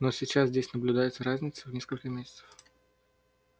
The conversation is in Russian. но сейчас здесь наблюдается разница в несколько месяцев